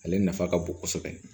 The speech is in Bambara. Ale nafa ka bon kosɛbɛ